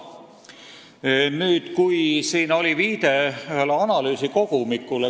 Minister viitas siin ühele analüüsikogumikule.